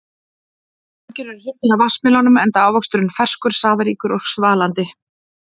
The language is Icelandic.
Margir eru hrifnir af vatnsmelónum enda ávöxturinn ferskur, safaríkur og svalandi.